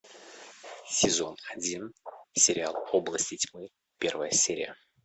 сезон один сериал области тьмы первая серия